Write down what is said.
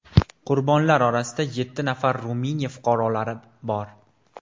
Qurbonlar orasida yetti nafar Ruminiya fuqarolari bor.